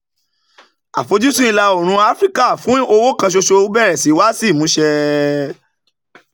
afojusun ìlà oòrùn áfíríkà fún owó kan ṣoṣo bere sii wa si imuse